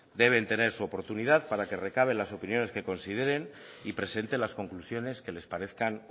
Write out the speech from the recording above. deben tener su oportunidad para que recabe las opiniones que consideren y presenten las conclusiones que les parezcan